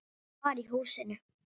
Hann var í húsinu.